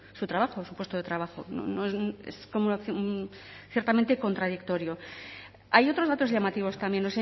su trabajo su puesto de trabajo es ciertamente contradictorio hay otros datos llamativos también